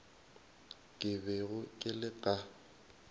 ke bego ke le ka